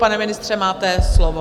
Pane ministře, máte slovo.